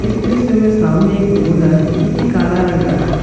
इस दृश्य में सामने एक रोड है जोकि काला रंग का है।